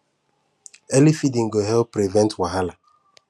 early feeding go help prevent wahala